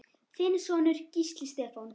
Þinn sonur, Gísli Stefán.